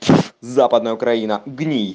западная украина гний